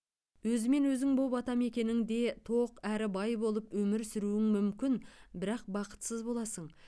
өзімен өзің боп атамекеніңде тоқ әрі бай болып өмір сүруің мүмкін бірақ бақытсыз боласың